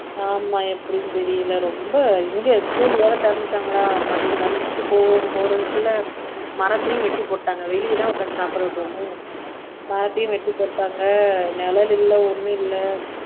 ஆமா எப்படின்னு தெரியலே ரொம்ப இங்க school வேற திறந்துட்டாங்களா மதியம் lunch க்கு போ போறதுக்குள்ள மரத்தையும் வெட்டி போட்டாங்க வெளியேதான் உட்கார்ந்து சாப்பிட விடுவோமோ மரத்தையும் வெட்டி போட்டாங்க நிழல் இல்லை ஒண்ணும் இல்லை